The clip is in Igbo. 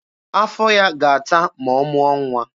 Afọ ya ga-ata ma ọ mụọ nwa.